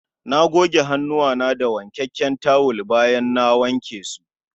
Na goge hannuwana da wankakken tawul bayan na wanke su